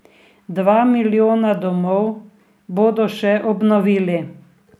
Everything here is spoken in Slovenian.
Dva milijona domov bodo še obnovili.